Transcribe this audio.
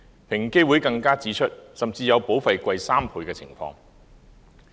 平機會更指出，甚至有保費高3倍的情況。